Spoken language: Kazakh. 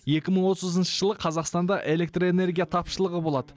екі мың отызыншы жылы қазақстанда электрэнергия тапшылығы болады